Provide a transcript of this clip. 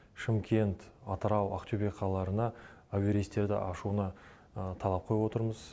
шымкент атырау ақтөбе қалаларына әуе рейстерді ашуына талап қойып отырмыз